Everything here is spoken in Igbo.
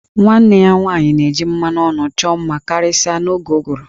Nwanne ya nwanyị na-eji mmanụ ọnụ chọọ mma karịsịa n'oge ụgụrụ